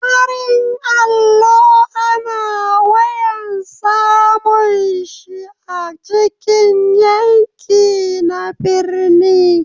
Farin allo ana wayan samun shi a cikin yanki na birni.